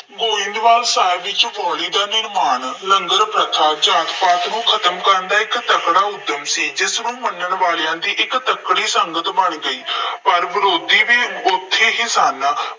ਗੋਇੰਦਵਾਲ ਸਾਹਿਬ ਵਿੱਚ ਬਾਊਲੀ ਦਾ ਨਿਰਮਾਣ, ਲੰਗਰ ਪ੍ਰਥਾ, ਜਾਤ ਪਾਤ ਨੂੰ ਖਤਮ ਕਰਨ ਲਈ ਇੱਕ ਤਕੜਾ ਉੱਦਮ ਸੀ। ਜਿਸਨੂੰ ਮੰਨਣ ਵਾਲਿਆਂ ਦੀ ਇੱਕ ਤਕੜੀ ਸੰਗਤ ਬਣ ਗਈ ਸੀ। ਪਰ ਵਿਰੋਧੀ ਵੀ ਉੱਥੇ ਹੀ ਸਨ।